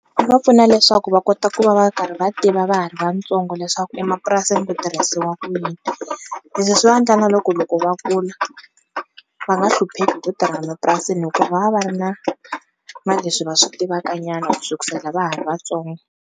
Va pfuna leswaku va kota ku va va karhi va tiva va ha ri vatsongo leswaku emapurasini ku tirhisiwa ku yini leswi swi va endla na loko loko va kula va nga hlupheki hi ku tirha mapurasini hikuva va va ri na na leswi va swi tivaka nyana ku sukusela va ha ri vatsongo.